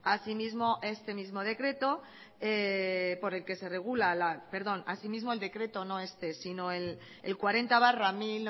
asimismo el decreto cuarenta barra mil